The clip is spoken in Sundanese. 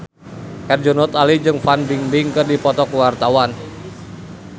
Herjunot Ali jeung Fan Bingbing keur dipoto ku wartawan